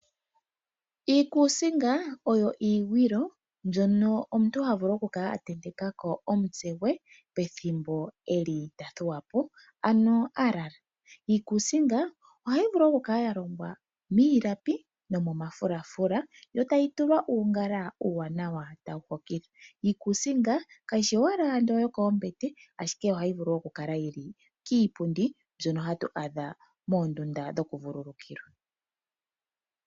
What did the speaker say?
Iikusinga oyo iigwilo mbyono omuntu havulu okukala a tentekako omutse gwe pethimbo eli tathuwapo ano alala. Iikusinga ohayi vulu okukala ya longwa miilapi nomomafulafula yo tayi tulwa uungala uuwanawa tawu hokitha. Iikusinga kayishi owala yokoombete ashike ohayi vulu okukala yili kiipundi mbyono hatu adha moondunda dhoku vululukila.